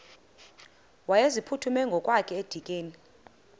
wayeziphuthume ngokwakhe edikeni